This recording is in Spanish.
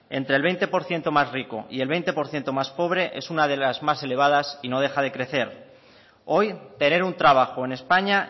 entre el veinte por ciento más rico y el veinte por ciento más pobre es una de las más elevadas y no deja de crecer hoy tener un trabajo en españa